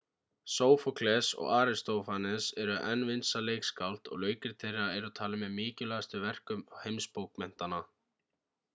sófókles og aristófanes eru enn vinsæl leikskáld og leikrit þeirra eru talin með mikilvægustu verkum heimsbókmenntanna